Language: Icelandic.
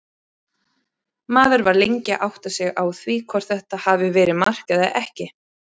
Maður var lengi að átta sig á því hvort þetta hafi verið mark eða ekki.